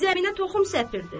Zəminə toxum səpirdi.